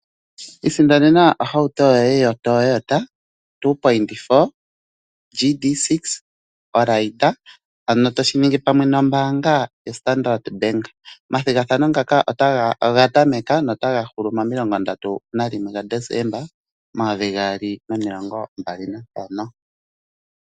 Isindanena ohauto yoye yoToyota 2.4 GD6 oRaider ano toshi ningi pamwe nombaanga yoStandard Bank. Omathigathano ngaka oga tameka nota ga hulu mo30 Desemba 2025.